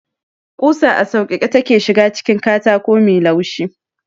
Kusa a sauƙaƙe take ​​shiga cikin katako mai laushi.